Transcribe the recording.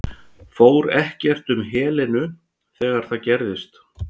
Fór ekkert um Helenu þegar það gerðist?